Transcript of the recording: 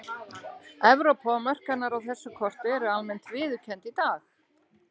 Evrópa og mörk hennar á þessu korti eru almennt viðurkennd í dag.